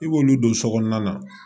I b'olu don so kɔnɔna na